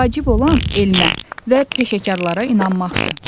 Vacib olan elmə və peşəkarlara inanmaqdır.